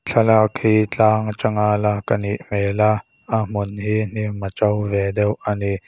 thlalak hi tlang atanga lak anih hmel a a hmun hi hnim a to ve deuh ani.